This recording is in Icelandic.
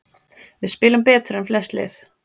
Við spilum betur en flest lið